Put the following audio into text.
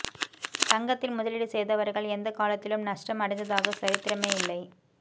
தங்கத்தில் முதலீடு செய்தவர்கள் எந்த காலத்திலும் நஷ்டம் அடைந்ததாக சரித்திரமே இல்லை